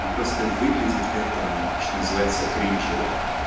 ну просто это выглядит это что называется кринжево